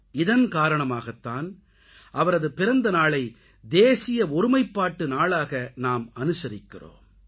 இதன் காரணமாகத் தான் அவரது பிறந்த நாளை தேசிய ஒருமைப்பாட்டு நாளாக நாம் அனுசரிக்கிறோம்